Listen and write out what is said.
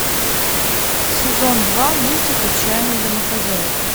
сезон два мультик отчаянные домохозяйки